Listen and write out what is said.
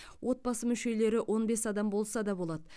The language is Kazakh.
отбасы мүшелері он бес адам болса да болады